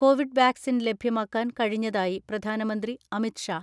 Covid vaccine ലഭ്യമാക്കാൻ കഴിഞ്ഞതായി പ്രധാനമന്ത്രി അമിത് ഷാ